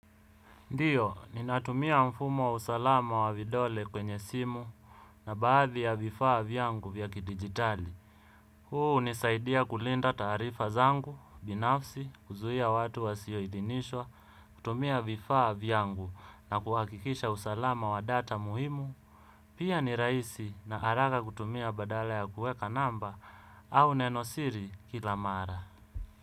Ndiyo, ninatumia mfumo wa usalama wa vidole kwenye simu na baadhi ya vifaa vyangu vya kidijitali huu hunisaidia kulinda taarifa zangu binafsi, kuzuia watu wasioidhinishwa, kutumia vifaa vyangu na kuhakikisha usalamu wa data muhimu pia ni rahisi na haraka kutumia badala ya kuweka namba au nenosiri kila mara.